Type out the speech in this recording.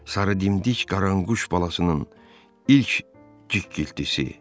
Sarı dimdik qaranquş balasının ilk cik-ciktisi.